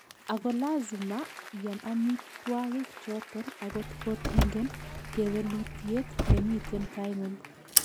Ako lazima iam amitwagik choton akot kotingen kewelutiet nemiten taingung'